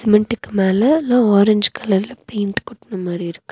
மின்டுக்கு மேல எல்லா ஆரஞ்சு கலர்ல பெயிண்ட் கொட்ன மாரி இருக்கு.